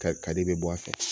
Ka kari i bɛ bɔ a fɛ